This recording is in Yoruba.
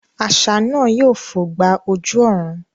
Àṣá náà yóò fò gba ojú ọ̀run